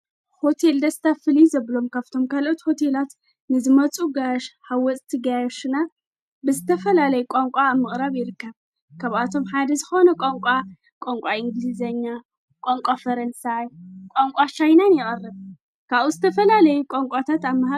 ሆቴል ደስታ ፍልይ ዘብሎም ካብቶም ካልኦትት ሆቴላት ንዝመፁ ኣጋያሽ ሓወፅቲ ገያዮሽና ብዝተፈላለይ ቛንቋ ምቕረብ ይርከብ ከብኣቶም ሓደ ዝኾነ ቛንቋ ቛንቋ እንግልዜኛ ቛንቋ ፈረንሳይ ቋንቋ ቻይናን ይቐርብ ካኡ ዝተፈላለይ ቋንቋታት ኣማሃ።